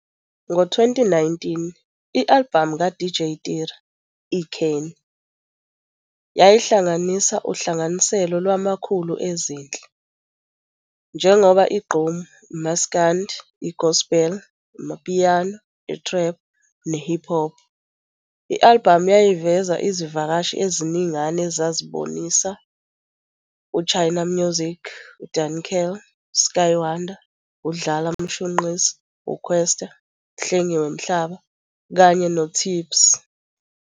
Ngo-2019, i-albhamu ka-DJ Tira, "I-kheni", yayihlanganisa uhlanganiselo lwamakhulu ezinhle, njengoba i-gqom, i-maskandi, i-gospel, i-amapiano, i-trap, ne-hip hop. I-albhamu yayiveza izivakashi eziningana ezibabonisa u-Chymamusique, u-Duncan, u-Skye Wanda, u-Dlala Mshunqisi, u-Kwesta, u-Hlengiwe Mhlaba, kanye no-Tipcee.